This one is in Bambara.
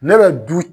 Ne bɛ du